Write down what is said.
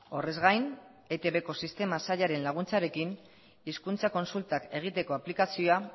horrez gain eitbko sistema sailaren laguntzarekin hizkuntza kontsultak egiteko aplikazioa